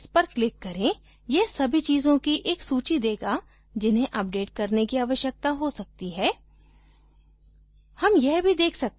available updates पर click करें यह सभी चीजों की एक सूची देगा जिन्हें अपडेट करने की आवश्यकता हो सकती है